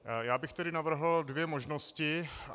Já bych tedy navrhl dvě možnosti.